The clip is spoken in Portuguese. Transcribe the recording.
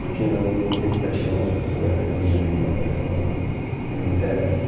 Porque não ia ficar atirando nas pessoas e arriscando a minha vida, é uma coisa que eu não, que não me interessa assim